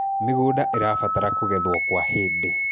mĩgũnda irabatara kũgethwo kwa hĩndĩ